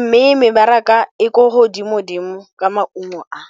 mme mebaraka e ko godimo-dimo ka maungo a.